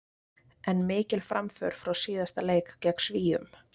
ef lífrænt efni brennur hreinum bruna myndast koltvíildi og vatn